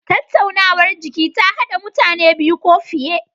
Tattaunawar jiki ta hada mutane biyu ko fiye.